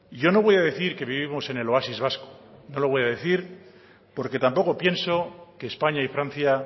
yo no voy a decir que vivimos en el oasis vasco no lo voy a decir porque tampoco pienso que españa y francia